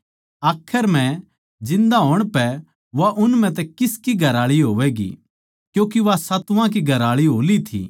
आखर म्ह जिन्दा होण पै वा उन म्ह तै किसकी घरआळी होवैगी क्यूँके वा सातुवां की घरआळी हो ली थी